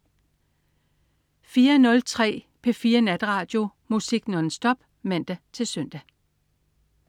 04.03 P4 Natradio. Musik nonstop (man-søn)